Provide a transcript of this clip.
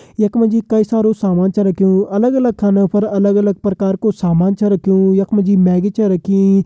यख मा जी कई सारू सामान छ रख्युं अलग अलग खानो पर अलग अलग प्रकार कु सामान छो रखयूं यख मा जी मैग्गी छ रखी।